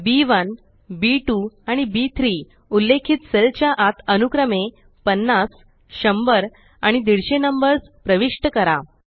B one B two आणि बी3 उल्लेखित सेल च्या आत अनुक्रमे 50100 आणि 150 नंबर्स प्रविष्ट करा